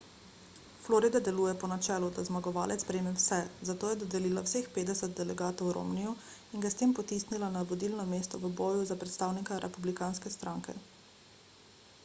florida deluje po načelu da zmagovalec prejme vse zato je dodelila vseh petdeset delegatov romneyju in ga s tem potisnila na vodilno mesto v boju za predstavnika republikanske stranke